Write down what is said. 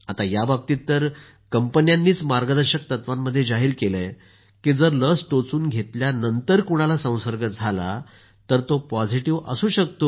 याबाबतीत तर कंपन्यांनीच मार्गदर्शक तत्वांमध्ये जाहिर केलं आहे की जर लस टोचून घेतल्यानंतर कुणाला संसर्ग झाला तर तो पॉझिटिव्ह असू शकतो